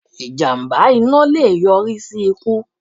Ìjàmbá iná le è yọrí sí ikú